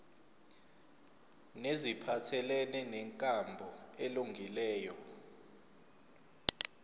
neziphathelene nenkambo elungileyo